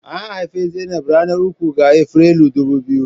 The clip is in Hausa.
An haifi Zainab a ranar uku ga Afrilu dubu biyu.